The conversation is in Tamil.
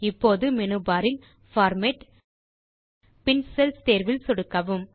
இப்போது மேனு பார் இல் பார்மேட் பின் செல்ஸ் தேர்வில் சொடுக்கவும்